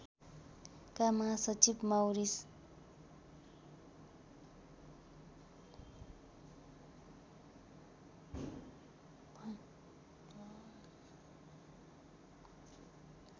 का महासचिव माउरीस